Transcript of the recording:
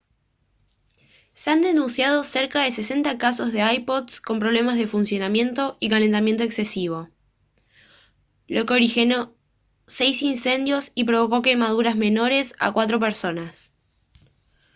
se han denunciado cerca de 60 casos de ipods con problemas de funcionamiento y calentamiento exesivo lo que originó seis incendios y provocó quemaduras menores a cuatro personas